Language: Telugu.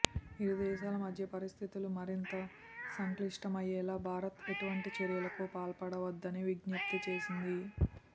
ఇరు దేశాల మధ్య పరిస్థితులు మరింత సంక్లిష్టయ్యేలా భారత్ ఎటువంటి చర్యలకు పాల్పడవద్దని విజ్ఞప్తి చేసింది